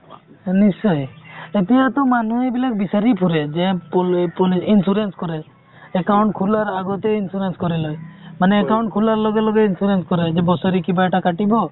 নিশ্চয় এতিয়াটো মানুহ এইবিলাক বিচাৰি ফুৰে যে insurance কৰে account খুলাৰ আগতেই insurance কৰি লই মানে account খুলাৰ লগে লগে insurance কৰাই যে বছৰে কিবা এটা কাতিব